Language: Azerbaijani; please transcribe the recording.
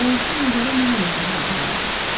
“Bayaqkı mənzərə mənə də çox ağır gəldi.”